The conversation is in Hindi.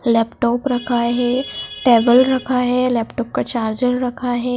लैपटॉप रखा है टेबल रखा है लैपटॉप का चार्जर रखा है।